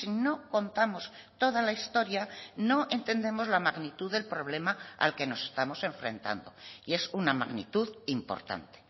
no contamos toda la historia no entendemos la magnitud del problema al que nos estamos enfrentando y es una magnitud importante